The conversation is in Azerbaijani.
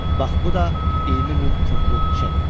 Bax bu da 20 min funtluq çek.